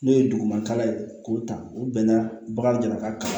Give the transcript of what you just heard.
N'o ye duguma kalan ye k'o ta o bɛnna bagan kan